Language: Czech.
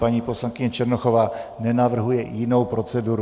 Paní poslankyně Černochová nenavrhuje jinou proceduru.